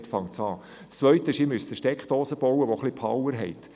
Zweitens müssen Sie eine Steckdose bauen, die etwas Power hat.